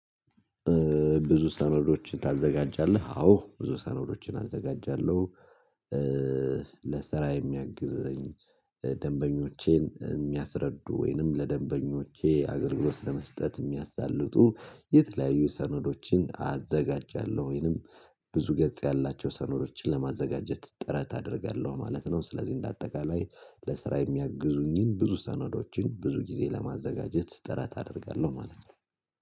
ብዙ ሰነዶችን ታዘጋጃለህ? አዎ ብዙ ሰነዶችን አዘጋጃለሁ ለስራ የሚያግዘኝ ደንበኞቼን የሚያስረዱ ወይንም ለደንበኞቼ አገልግሎት ለመስጠት የሚያሳልጡ የተለያዩ ሰነዶችን አዘጋጃለሁ ወይንም ብዙ ገጽ ያላቸው ሰነዶችን ለማዘጋጀት ጥረት አደርጋለሁ ማለት ነው። ስለዚህ እንደ አጠቃላይ ለስራ የሚያግዙኝን ብዙ ሰነዶችን ብዙ ጊዜ ለማዘጋጀት ጥረት አደርጋለሁ ማለት ነው።